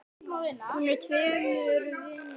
Hún er í tveimur vinnum.